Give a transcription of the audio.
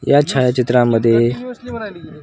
या छायाचित्रांमध्ये --